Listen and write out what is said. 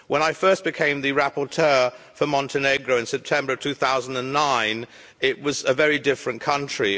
When I first became the rapporteur for Montenegro in September 2009 it was a very different country.